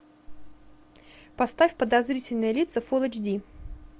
поставь подозрительные лица фул эйч ди